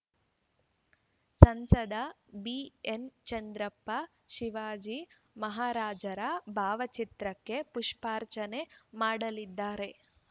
ಸಂಸದ ಬಿಎನ್‌ಚಂದ್ರಪ್ಪ ಶಿವಾಜಿ ಮಹಾರಾಜರ ಭಾವಚಿತ್ರಕ್ಕೆ ಪುಷ್ಪಾರ್ಚನೆ ಮಾಡಲಿದ್ದಾರೆ